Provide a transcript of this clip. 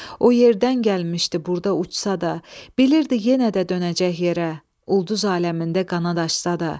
O yerdən gəlmişdi burda uçsa da, bilirdi yenə də dönəcək yerə, ulduz aləmində qanad açsa da.